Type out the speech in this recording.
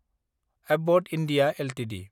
Abbott India Ltd